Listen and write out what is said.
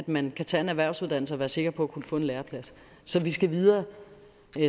man kan tage en erhvervsuddannelse og være sikker på at kunne få en læreplads så vi skal videre